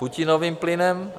Putinovým plynem?